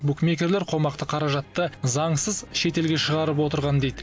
букмекерлер қомақты қаражатты заңсыз шетелге шығарып отырған дейді